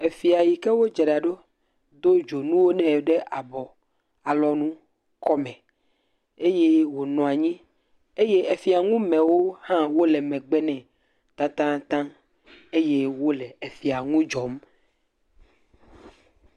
Efia yi ke wodzra ɖo do dzonu wo nɛ ɖe abɔ, alɔnu, kɔme eye wonɔ anyi. Eye efiaŋumewo hã le megbe nɛ tatãtaã eye wole efia ŋu dzɔm.